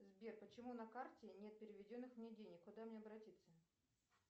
сбер почему на карте нет переведенных мне денег куда мне обратиться